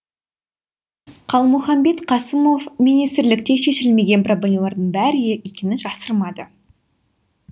қалмұханбет қасымов министрлікте шешілмеген проблемалардың бар екенін жасырмады